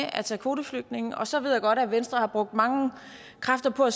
at tage kvoteflygtninge så ved jeg godt at venstre har brugt mange kræfter på at